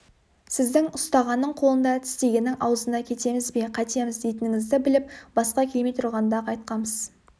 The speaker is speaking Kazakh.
сіздің ұстағанның қолында тістегеннің аузында кетеміз бе қайтеміз дейтініңізді біліп басқа келмей тұрғанда-ақ айтқамыз